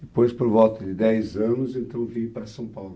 Depois, por volta de dez anos, então vim para São Paulo.